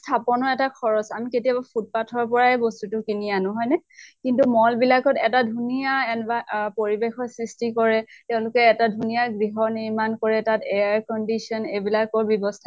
স্থাপনৰ এটা খৰচ, আমি কেতিয়াবা footpath ৰ পৰাই বস্তুটো কিনি আনো হয় নে ? কিন্তু mall বিলাকত এটা ধুনীয়া এন্ভা আ পৰিৱেশৰ সৃষ্টি কৰে, তেওঁলোকে এটা ধুনীয়া গৃহ নিৰ্মাণ কৰে, তাত air condition এইবিলাকৰ ব্য়ৱস্থা